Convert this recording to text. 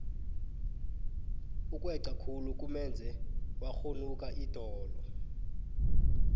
ukweca khulu kumenze wakghunuka idolo